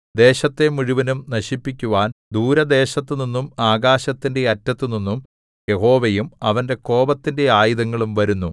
ദേശത്തെ മുഴുവനും നശിപ്പിക്കുവാൻ ദൂരദേശത്തുനിന്നും ആകാശത്തിന്റെ അറ്റത്തുനിന്നും യഹോവയും അവന്റെ കോപത്തിന്റെ ആയുധങ്ങളും വരുന്നു